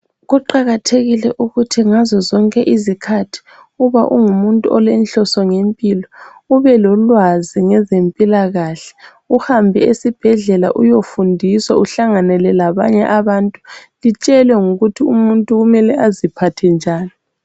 Kuqakathekile ukuthi ngazo zonke izikhathi uba ungumuntu olenhloso ngempilo ube lolwazi ngezempilakahle, uhambe esibhedlela uyofundiswa uhlanganele labanye abantu, litshelwe ngokuthi umuntu kumele aziphathe njani.